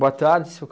Boa tarde, Seu